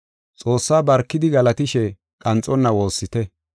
Xoossaa barkidi galatishe qanxonna woossite.